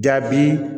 Jaabi